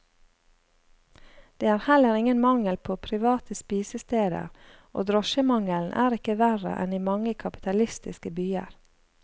Det er heller ingen mangel på private spisesteder, og drosjemangelen er ikke verre enn i mange kapitalistiske byer.